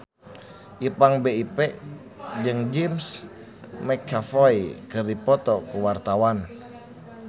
Ipank BIP jeung James McAvoy keur dipoto ku wartawan